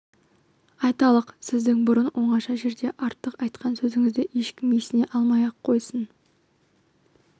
айталық сіздің бұрын оңаша жерде артық айтқан сөзіңізді ешкім есіне алмай-ақ қойсын